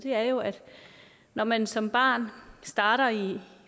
er jo at når man som barn starter i